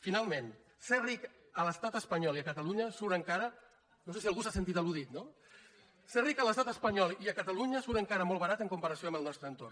finalment ser ric a l’estat espanyol i a catalunya surt encara ludit no ser ric a l’estat espanyol i a catalunya surt encara molt barat en comparació amb el nostre entorn